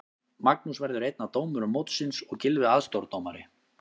Magnús verður einn af dómurum mótsins og Gylfi aðstoðardómari.